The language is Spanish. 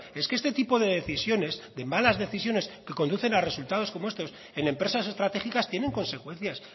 es que este tipo de decisiones de malas decisiones que conducen a resultados como estos en empresas estratégicas tienen consecuencias